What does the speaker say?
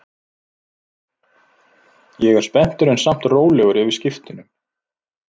Ég er spenntur en samt rólegur yfir skiptunum.